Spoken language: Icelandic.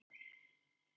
Löng stund leið í þögn.